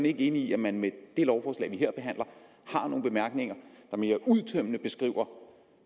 ikke enig i at man med det lovforslag vi her behandler har nogle bemærkninger der mere udtømmende beskriver